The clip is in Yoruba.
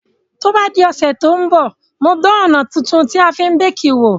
To bá di òsẹ̀ to n bọ̀, n o dan òná tuntun tí a fi n bake wò